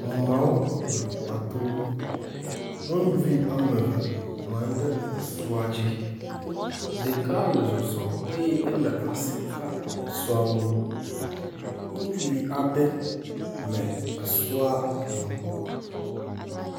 Ameawo le ƒua to. Nyɔnuvi ame eve nɔ anyi ɖe sɔa dzi. Ɖeka le zɔzɔm eye ele asi kam esɔa ŋu. Ŋutsuvi aɖe le esɔa hem.